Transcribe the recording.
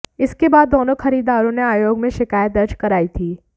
इसके बाद दोनों खरीदारों ने आयोग में शिकायत दर्ज कराई थी